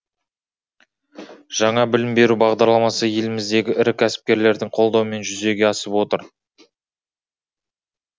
жаңа білім беру бағдарламасы еліміздегі ірі кәсіпкерлердің қолдауымен жүзеге асып отыр